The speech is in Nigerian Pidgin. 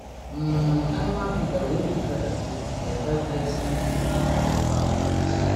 um animal feeder wey we gather buld dey help lessen food waste for fowl house